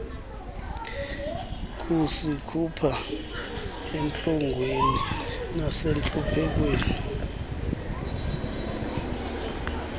kusikhupha entlungwini nasentluphekweni